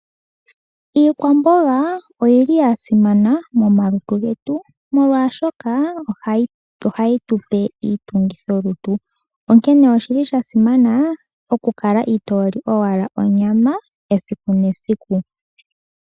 Iikwamboga oyili ya simana momalutu getu molwaashoka ohayi tupe iitungithilutu, onkene oshili sha simana oku kala itoo li owala onyama esiku nesiku.